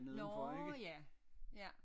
Nårh ja ja